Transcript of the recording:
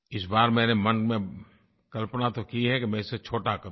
इस बार मैंने मन में कल्पना तो की है कि मैं इसे छोटा करूँ